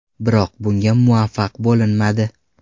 Biroq bunga muvaffaq bo‘linmadi.